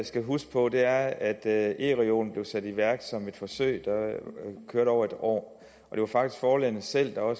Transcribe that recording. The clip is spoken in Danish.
skal huske på er at at ereolen blev sat i værk som et forsøg der kørte over et år og det var faktisk forlagene selv der var